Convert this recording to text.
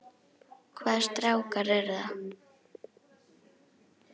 Hvaða strákar eru það?